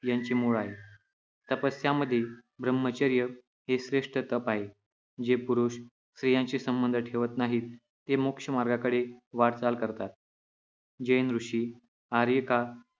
यांचे मूळ आहे. तपस्यामध्ये ब्रह्मचर्य हे श्रेष्ठ तप आहे. जे पुरुष स्त्रियांशी संबंध ठेवत नाहीत, ते मोक्षमार्गाकडे वाटचाल करतात. जैन ऋषी, आर्यिका